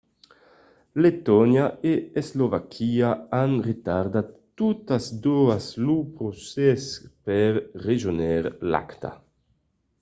letònia e eslovaquia an retardat totas doas lo procès per rejónher l'acta